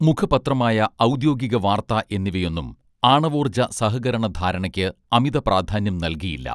മുഖപത്രമായ ഔദ്യോഗിക വാർത്താ എന്നിവയൊന്നും ആണവോർജ സഹകരണ ധാരണയ്ക്ക് അമിത പ്രാധാന്യം നൽകിയില്ല